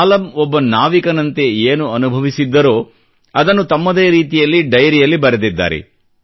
ಮಾಲಮ್ ಒಬ್ಬ ನಾವಿಕನಂತೆ ಏನು ಅನುಭವಿಸಿದ್ದರೋ ಅದನ್ನು ತಮ್ಮದೇ ರೀತಿಯಲ್ಲಿ ಡೈರಿಯಲ್ಲಿ ಬರೆದಿದ್ದಾರೆ